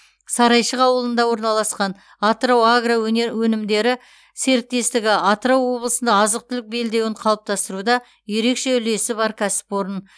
сарайшық ауылында орналасқан атырау агро өне өнімдері серіктестігі атырау облысында азық түлік белдеуін қалыптастыруда ерекше үлесі бар кәсіпорын